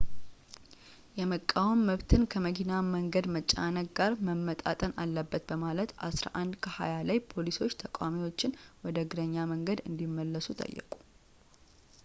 የመቃወም መብትን ከመኪና መንገድ መጨናነቅ ጋር መመጣጠን አለበት በማለት 11፡20 ላይ ፖሊሶች ተቋሚዎቹን ወደ እግረኛ መንገድ እንዲመለሱ ጠየቁ